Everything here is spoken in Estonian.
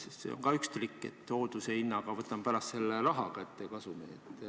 See on samuti üks trikk, et hoolduse hinnaga võtame pärast selle rahaga kasumit.